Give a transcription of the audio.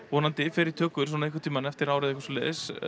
vonandi fer í tökur svona einhvern tímann eftir ár eða eitthvað svoleiðis